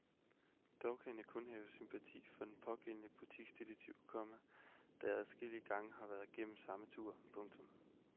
Dog kan jeg kun have sympati for den pågældende butiksdetektiv, komma da jeg adskillige gange har været igennem samme tur. punktum